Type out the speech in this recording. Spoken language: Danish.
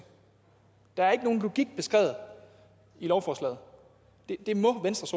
der er ikke beskrevet nogen logik i lovforslaget det må venstres